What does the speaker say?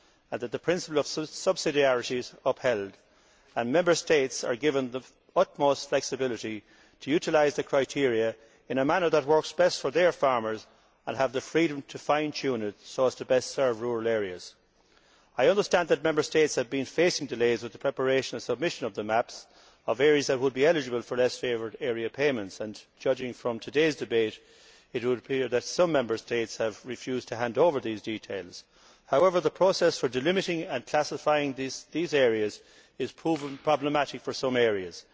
and that the principle of subsidiarity is upheld, and that Member States are given the utmost flexibility to utilise the criteria in a manner that works best for their farmers and that they have the freedom to fine tune it so as to best serve rural areas. I understand that Member States have been facing delays in the preparation and submission of the maps of areas that would be eligible for less favoured area payments and, judging from today's debate, it would appear that some Member States have refused to hand over these details. The process for delimiting and classifying these areas is proving problematic for some areas.